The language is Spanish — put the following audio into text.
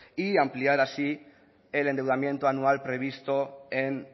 y ampliar así el endeudamiento anual previsto en